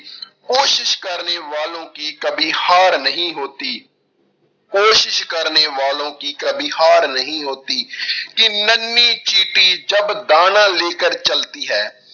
ਕੋਸ਼ਿਸ਼ ਕਰਨੇ ਵਾਲੋਂ ਕੀ ਕਬੀ ਹਾਰ ਨਹੀਂ ਹੋਤੀ, ਕੋਸ਼ਿਸ਼ ਕਰਨੇ ਵਾਲੋਂ ਕੀ ਕਬੀ ਹਾਰ ਨਹੀਂ ਹੋਤੀ ਕਿ ਨੰਨੀ ਚੀਟੀ ਜਬ ਦਾਨਾ ਲੇਕਰ ਚਲਤੀ ਹੈ